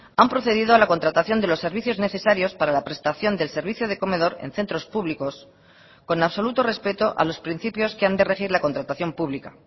han procedido a la contratación de los servicios necesarios para la prestación del servicio de comedor en centros públicos con absoluto respeto a los principios que han de regir la contratación pública